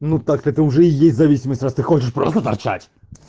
ну так-то это уже и есть зависимость раз ты хочешь просто торчать